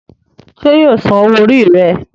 ṣe yíò sàn owó Orí rẹ.